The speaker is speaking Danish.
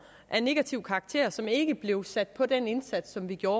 af negativ karakter som ikke blev sat på den indsats som vi gjorde